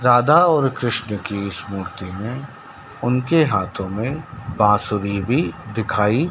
राधा और कृष्ण की इस मूर्ति में उनके हाथों में बांसुरी भी दिखाई--